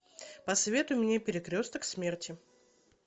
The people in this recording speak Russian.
посоветуй мне перекресток смерти